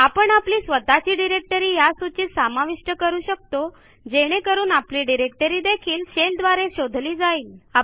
आपण आपली स्वतःची डिरेक्टरी या सूचीत समाविष्ट करू शकतो जेणे करून आपली डिरेक्टरी देखील शेल द्वारे शोधली जाईल